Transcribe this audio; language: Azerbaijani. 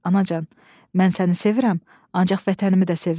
Anacan, mən səni sevirəm, ancaq vətənimi də sevirəm.